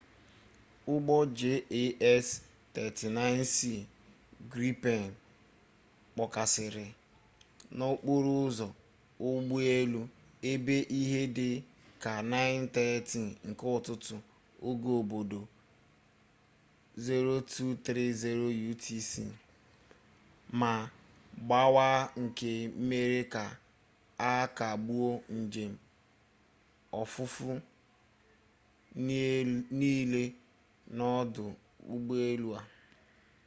ụgbọ jas 39c gripen kpọkasịrị n'okporo ụzọ ụgbọelu ebe ihe dị ka 9:30 nke ụtụtụ oge obodo 0230 utc ma gbawaa nke mere ka a kagbuo njem ofufe niile n'odụ ụgbọelu a